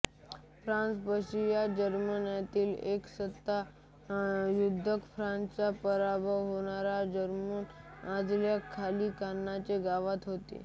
France Prussia जर्मनीतील एक सत्ता युद्धात फ्रान्सचा पराभव होऊन जर्मन अधिपत्याखाली कान्हचे गाव होते